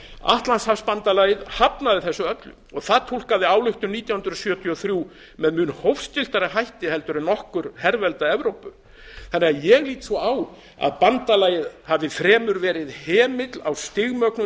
atlantshafsbandalagið hafnaði þessu öllu og það túlkaði ályktun nítján hundruð sjötíu og þrjú með mun hófstilltari hætti en nokkurt hervelda evrópu ég lít svo á að bandalagið hafi fremur verið hemill á